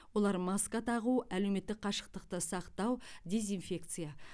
олар маска тағу әлеуметтік қашықтықты сақтау дезинфекция